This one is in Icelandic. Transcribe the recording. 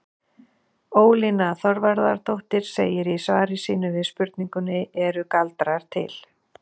Ólína Þorvarðardóttir segir í svari sínu við spurningunni Eru galdrar til?